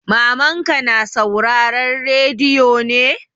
Mamanka na sauraren rediyo ne?